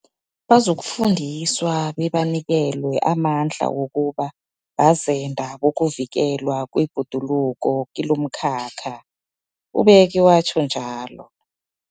Bazokufundiswa bebanikelwe amandla wokuba bazenda bokuvikelwa kwebhoduluko kilomkhakha, ubeke watjho.